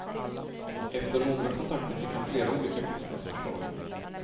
Efter några kontakter fick han flera olika kostnadsförslag.